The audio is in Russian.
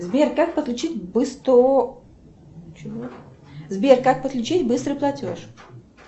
сбер как подключить быстрый платеж